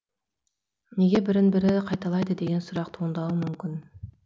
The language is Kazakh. неге бірін бірі қайталайды деген сұрақ туындауы мүмкін